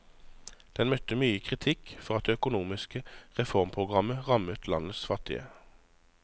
Den møtte mye kritikk for at det økonomiske reformprogrammet rammet landets fattige.